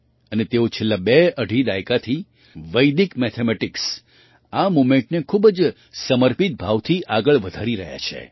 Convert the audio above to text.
અને તેઓ છેલ્લા બેઅઢી દાયકાથી વૈદિક મેથેમેટિક્સ આ મૂવમેન્ટને ખૂબ જ સમર્પિત ભાવથી આગળ વધારી રહ્યા છે